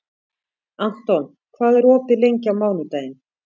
Anton, hvað er opið lengi á mánudaginn?